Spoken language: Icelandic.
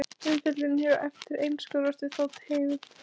Umfjöllunin hér á eftir einskorðast við þá tegund.